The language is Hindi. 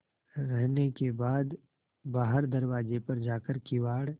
रहने के बाद बाहर दरवाजे पर जाकर किवाड़